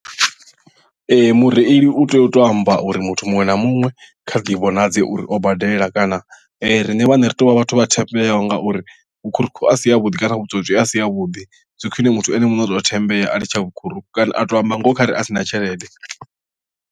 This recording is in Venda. Ee mureili u tea u to amba uri muthu muṅwe na muṅwe kha ḓivhonadze uri o badela kana riṋe vhaṋe ri tovha vhathu vha thembeaho ngauri vhukhuruku a si ha vhuḓi kana vhutswotswi a si havhuḓi zwi khwine muthu ene muṋe o thembea a litsha vhukhuruku kana a to amba ngoho kha re a sina tshelede.